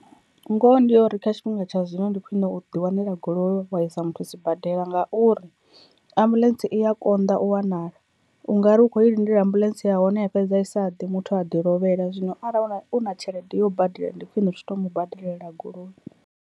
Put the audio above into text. Ngoho ndi yori kha tshifhinga tsha zwino ndi khwine u ḓi wanela goloi wa i sa muthu sibadela, ngauri ambuḽentse i ya konḓa u wanala, ungari u kho i lindela ambuḽentse ya hone ya fhedza i sa ḓe muthu a ḓi lovhela zwino arali u na u na tshelede yo badela ndi khwine u tshi to mu badelela goloi.